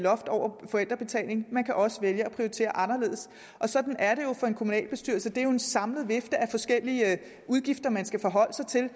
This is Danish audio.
loft over forældrebetalingen man kan også vælge at prioritere anderledes og sådan er det jo for en kommunalbestyrelse det er jo en samlet vifte af forskellige udgifter man skal forholde sig til